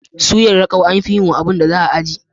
Suyar rakau amfi yiwa abun da za a aje.